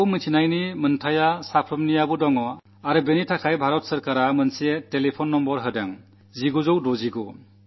ഇതറിയാനുള്ള അവകാശം എല്ലാവർക്കുമുണ്ട് അതിനായി ഭാരതസർക്കാർ ഒരു നമ്പർ നല്കിയിട്ടുണ്ട് 1969